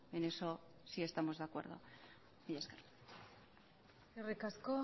en eso sí estamos de acuerdo mila esker eskerrik asko